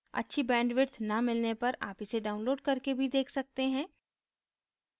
अच्छी bandwidth न मिलने पर आप इसे download करके भी देख सकते हैं